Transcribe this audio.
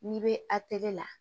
N'i bɛ atɛli la